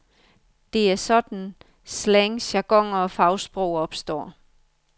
Det er sådan, slang, jargoner og fagsprog opstår.